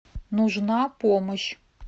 нужна помощь